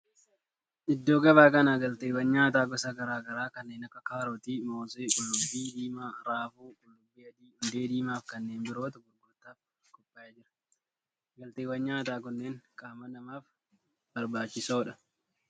Iddoo gabaa kana galteewwan nyaataa gosa garaa garaa kanneen akka kaarotii, moosee, qullubbii diimaa, raafuu, qullubbii adii, hundee diimaa fi kanneen birootu gurgurtaaf qophaa'ee jira. galteewwan nyaataa kunneen qaama namaaf barbaachisoodha.